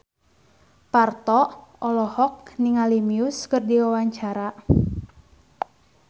Parto olohok ningali Muse keur diwawancara